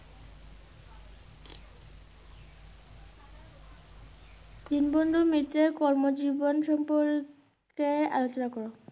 দীনবন্ধু মিত্রের কর্মজীবন সম্পর্কে আলোচনা কর।